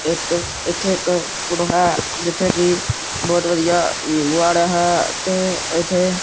ਇੱਕ ਇੱਥੇ ਇੱਕ ਫੋਟੋ ਹੈ ਜਿੱਥੇ ਕਿ ਬਹੁਤ ਵਧੀਆ ਵਿਊ ਆ ਰਿਹਾ ਹੈ ਤੇ ਇੱਥੇ--